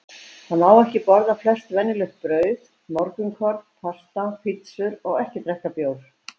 Þá má ekki borða flest venjuleg brauð, morgunkorn, pasta, pizzur og ekki drekka bjór.